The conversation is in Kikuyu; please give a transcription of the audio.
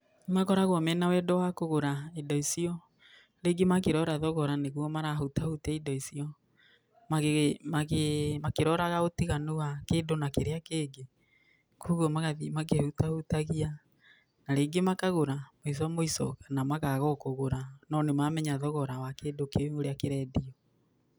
Makoragwo mena wendo wa kũgũra indo icio, rĩngĩ makĩrora thogoro nĩguo marahutahutia indo icio, magĩ magĩ makĩroraga ũtiganu wa kĩndũ na kĩrĩa kĩngĩ, kwoguo magathiĩ makĩhutahutagia, na rĩngĩ makagũra mũico mũico kana makaga o kũgũra no nĩmamenya thogora wa kĩndũ kĩu ũrĩa kĩrendio.